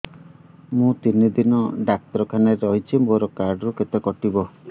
ମୁଁ ତିନି ଦିନ ଡାକ୍ତର ଖାନାରେ ରହିଛି ମୋର କାର୍ଡ ରୁ କେତେ କଟିବ